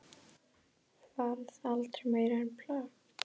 Varð aldrei meira en plakat.